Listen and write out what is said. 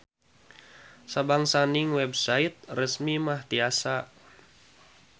Sabangsaning website resmi mah tiasa.